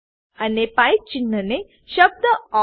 અને પાઇપ ચિહ્ન ને શબ્દ ઓર